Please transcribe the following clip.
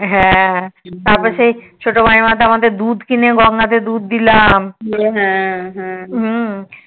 হ্যা হ্যা তারপর সেই ছোট মাইমা আমাদের কে দুধ কিনে গঙ্গা তে দুধ দিলাম